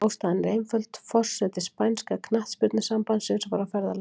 Ástæðan er einföld, forseti spænska knattspyrnusambandsins var á ferðalagi.